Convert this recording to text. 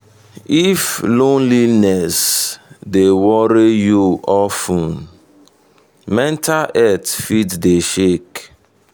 if loneliness dey worry you of ten mental health fit dey shake.